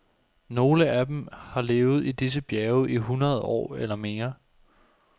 Nogle af dem har levet i disse bjerge i hundrede år eller mere.